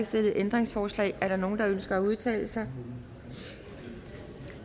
stillet ændringsforslag er der nogen der ønsker at udtale sig